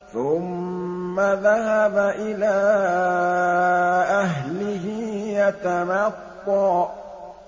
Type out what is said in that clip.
ثُمَّ ذَهَبَ إِلَىٰ أَهْلِهِ يَتَمَطَّىٰ